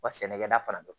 Wa sɛnɛkɛda fana don